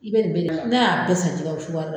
I bɛ nin bɛɛ n'a y'a bɛɛ san cogoya min